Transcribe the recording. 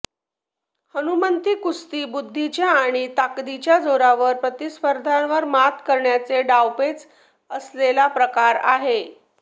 हनुमंती कुस्ती बुद्धीच्या आणि ताकदीच्या जोरावर प्रतिस्पर्ध्यांवर मात करण्याचे डावपेच असलेला प्रकार आहे